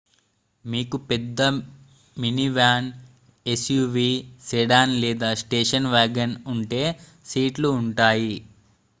మీకు పెద్ద minivan SUV sedan లేదా స్టేషన్ వాగన్ ఉంటే సీట్లు ఉంటాయి